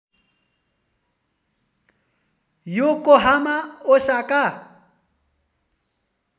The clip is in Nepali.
Yokohama Osaka